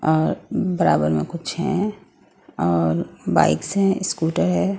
और बराबर में कुछ हैं और बाइक्स हैं स्कूटर है।